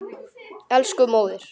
Elsku móðir.